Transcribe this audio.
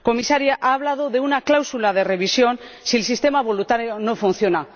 Comisaria, ha hablado de una cláusula de revisión si el sistema voluntario no funciona.